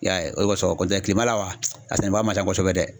I y'a ye o de kosɔn kɔn tɛ kilema la wa, a sɛnɛba man ca kosɛbɛ dɛ.